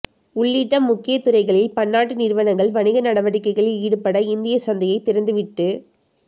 உள்ளிட்ட முக்கிய துறைகளில் பன்னாட்டு நிறுவனங்கள் வணிக நடவடிக்கைகளில் ஈடுபட இந்திய சந்தையை திறந்து விட்டுப்